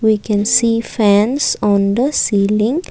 we can see fans on the ceiling.